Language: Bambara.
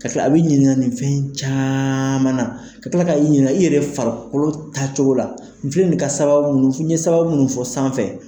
Ka tila a bɛ ɲininka nin fɛn caman na ka tila ka i ɲininka i yɛrɛ farikolo taacogo la n filɛ ka n ye sababu minnu fɔ n ye sababu minnu fɔ sanfɛ